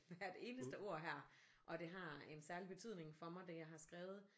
Hvert eneste ord her og det har en særlig betydning for mig det jeg har skrevet